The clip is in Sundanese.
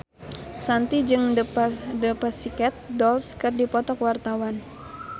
Shanti jeung The Pussycat Dolls keur dipoto ku wartawan